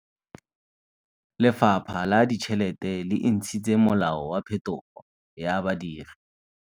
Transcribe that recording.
Lefapha la Ditšheletê le intshitse molao wa phetogô ya badiri.